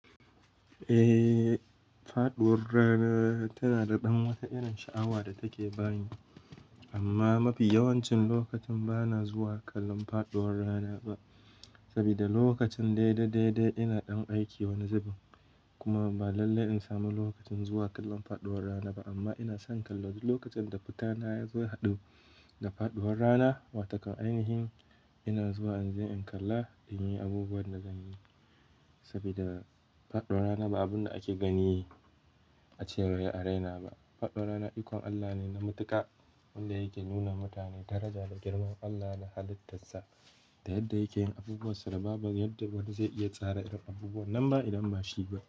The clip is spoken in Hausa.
Eh, faɗuwar rana tana da ɗan wata irin sha'awa da take bani. Amma mafi yawancin lokacin bana zuwa kallon faɗuwar rana ba. Saboda lokacin daidai-daidai ina ɗan aiki wani zubin kuma ba lallai in sami lokacin zuwa kallon faɗuwar rana ba. Amma ina son kallo lokacin da fitana ya zo ya haɗu da faɗuwar rana. Watakan ainihin ina zuwa in je in kalla in yi abubuwan da zan yi. Saboda faɗuwar rana ba abun da ake gani a cewa ya a raina ba. Faɗuwar rana ikon Allah ne na matuƙa wanda yake nuna wa mutane daraja da girman Allah da halittarsa. Da yadda yake yin abubuwa saba ba wanda zai iya tsara irin abubuwan nan ba idan ba shi ba.